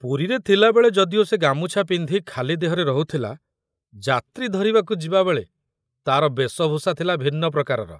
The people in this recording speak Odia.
ପୁରୀରେ ଥିଲାବେଳେ ଯଦିଓ ସେ ଗାମୁଛା ପିନ୍ଧି ଖାଲି ଦେହରେ ରହୁଥିଲା, ଯାତ୍ରୀ ଧରିବାକୁ ଯିବାବେଳେ ତାର ବେଶଭୂଷା ଥିଲା ଭିନ୍ନ ପ୍ରକାରର।